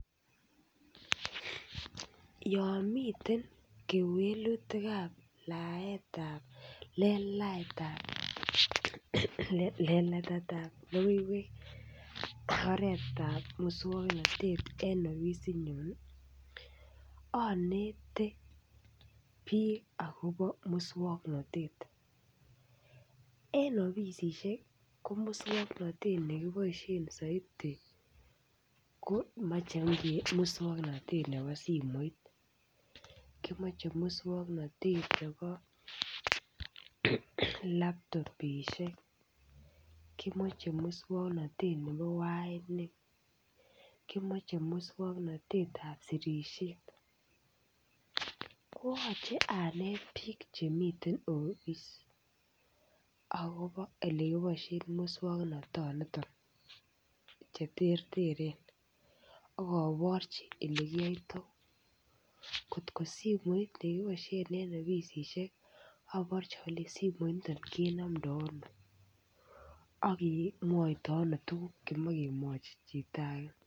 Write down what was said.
Yon miten kewelutik ab letaetab logoiwek en oret ab moswoknatet en ofisinyun anete bik akobo moswoknatet en ofisisiek ko moswoknatet ne kiboisien soiti komoche moswoknatet nebo simoit kimoche moswoknatet nebo laptopisiek kimoche moswoknatet nebo wainik kimoche moswoknatet nebo sirisiet kimoche moswoknatet koyoche anet bik Chemi ofis agobo Ole kiboisioto moswoknatanito Che terteren ak aborchi Ole kiyoito kotko simoit ne kiboisien en ofisisiek aborchi alenji simoini kenomdo ano ak kemwoito tuguk Che machei kemwachi chito age